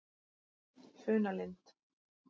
Funalind